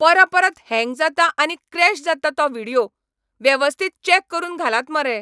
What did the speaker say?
परपरत हँग जाता आनी क्रॅश जाता तो व्हिडियो. वेवस्थीत चॅक करून घालात मरे.